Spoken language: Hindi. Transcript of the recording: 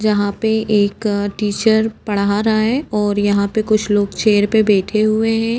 यहाँ पे एक टीचर पढ़ा रहा है और यहाँ पे कुछ लोग चेयर पे बैठे हुए हैं।